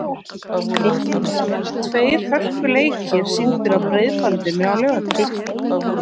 Það verða tveir hörkuleikir sýndir á Breiðbandinu á laugardaginn.